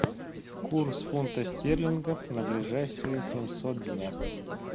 курс фунта стерлингов на ближайшие семьсот дня